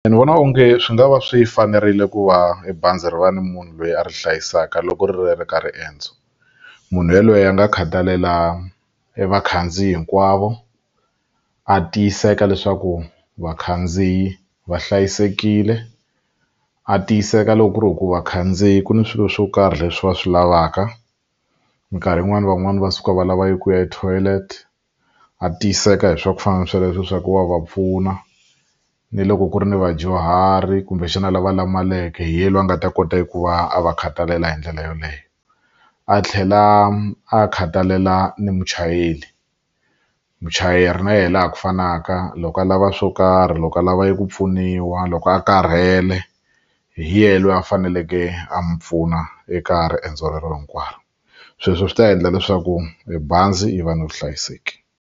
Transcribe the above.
Ndzi vona onge swi nga va swi fanerile ku va bazi ri va ni munhu loyi a ri hlayisaka loko ri ri ka riendzo munhu yaloye a nga khathalela evakhandziyi hinkwavo a tiyiseka leswaku vakhandziyi va hlayisekile a tiyiseka loko ku ri hi ku vakhandziyi ku ni swilo swo karhi leswi va swi lavaka minkarhi yin'wani van'wani va suka va lava eku ya etoilet a tiyiseka hi swa ku fana na sweleswo swa ku wa va pfuna ni loko ku ri ni vadyuhari kumbexana lava lamaleke hi yena loyi a nga ta kota hikuva a va khathalela hi ndlela yoleyo a tlhela a khathalela ni muchayeri muchayeri na yena laha ku fanaka loko a lava swo karhi loko a lava ku pfuniwa loko a karhele hi yena loyi a faneleke a mi pfuna eka riendzo rero hinkwaro sweswo swi ta endla leswaku bazi yi va na vuhlayiseki.